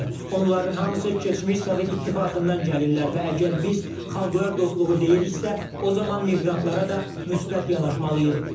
Onların hamısı keçmiş Sovet İttifaqından gəlirlər və əgər biz xalqlar dostluğu deyiriksə, o zaman miqrantlara da müsbət yanaşmalıyıq.